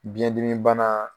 Biyɛndimi bana